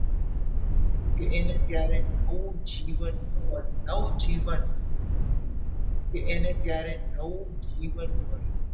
કે એને ત્યારે નવું જીવન નવજીવન મળ્યું કે એને ત્યારે નવું જીવન મળ્યું.